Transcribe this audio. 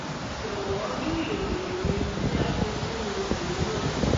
jọwọ rí ìròyìn mi tí a fi sínú ìwé náà